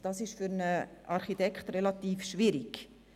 Das ist für einen Architekt relativ schwierig.